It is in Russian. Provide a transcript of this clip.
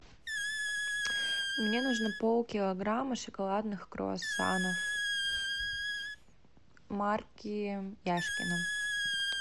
мне нужно пол килограмма шоколадных круасанов марки яшкино